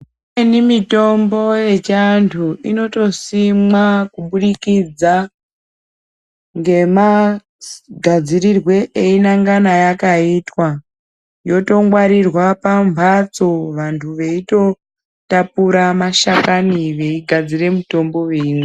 Imweni mitombo yechiandu inotosimwa kubudikidza nemagadzirirwe eingana yakaitwa yotongwaririrwa pamhatso vantu veitotapura mashakani veigadzira mitombo veimwa.